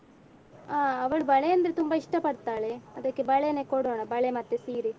ಆ ಅವಳು ಬಳೆ ಅಂದ್ರೆ ತುಂಬಾ ಇಷ್ಟಪಡ್ತಾಳೆ ಅದಕ್ಕೆ ಬಳೆನೇ ಕೊಡೋಣ ಬಳೆ ಮತ್ತೆ ಸೀರೆ.